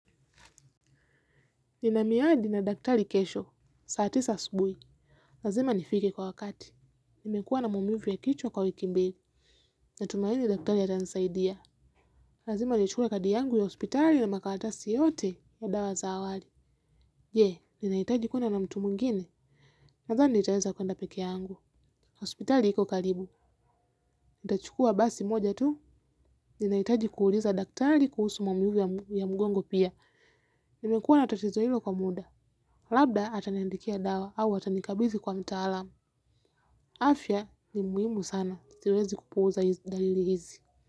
Ninamiadi na daktari kesho, saa tisa asubui. Lazima nifike kwa wakati. Nimekuwa na maumivu ya kichwa kwa wiki mbili. Natumaini daktari atanisaidia. Lazima nichukue kadi yangu ya hospitali na makalatasi yote ya dawa zaawari. Je, ninaitaji kwenda na mtu mwingine. Natani nitaweza kuenda peke yangu. Hospitali iko kalibu. Itachukua basi moja tu. Ninaitaji kuuliza daktari kuhusu maumivu ya mgongo pia. Nimekuwa na tatizo hilo kwa muda. Labda ataniandikia dawa au atanikabizi kwa mtaalamu. Afya ni muimu sana. Siwezi kupuza hizi dalili hizi.